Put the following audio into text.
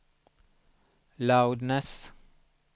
loudness